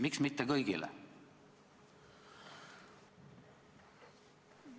Miks mitte kõigi puhul?